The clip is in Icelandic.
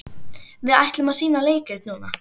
Við ætlum að sýna leikrit núna.